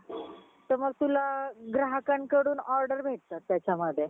त मग तुला ग्राहककडून order भेटतात त्याच्यामध्ये